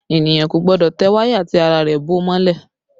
Ènìyàn kò gbọ́dọ̀ tẹ wáyà tí ara rẹ̀ bó mọ́lẹ̀